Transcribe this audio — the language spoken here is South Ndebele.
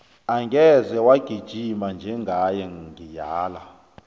angeze wagijima njengaye ngiyala